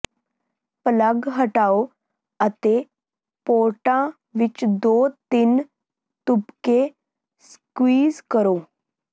plug ਹਟਾਓ ਅਤੇ ਪੋਰਟਾਂ ਵਿੱਚ ਦੋ ਤਿੰਨ ਤੁਪਕੇ ਸਕਿਊਜ਼ ਕਰੋ